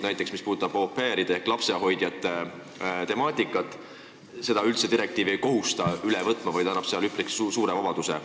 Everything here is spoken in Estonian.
Näiteks au pair'e ehk lapsehoidjaid käsitlevaid punkte direktiiv ei kohusta üle võtma, vaid annab üpris suure vabaduse.